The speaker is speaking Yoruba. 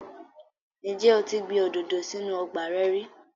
Ǹjẹ́ o ti gbin òdòdó sí inú ọgbà rẹ rí?